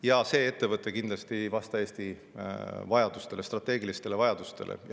Ja see ettevõte kindlasti ei vasta Eesti strateegilistele vajadustele.